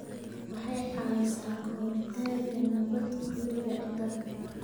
waxay caawisaa ka hortagga nabaad-guurka ciidda.